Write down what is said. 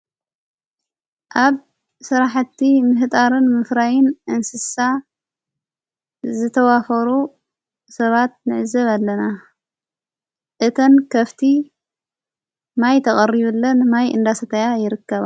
ኣብ ሠራሕቲ ምህጣርን ምፍራይን እንስሳ ዝተዋፈሩ ሰባት ንዕዘብ ኣለና እተን ከፍቲ ማይ ተቐርዩለን ማይ እንዳሰተያ ይርከባ።